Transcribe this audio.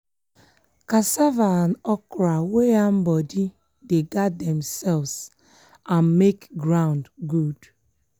cassava and okra wey ham body dey guard themselves and make ground good.